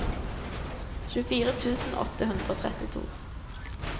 tjuefire tusen åtte hundre og trettito